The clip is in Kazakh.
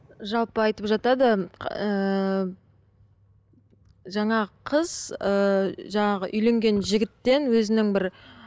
жалпы айтып жатады ыыы жаңағы қыз ыыы жаңағы үйленген жігіттен өзінің бір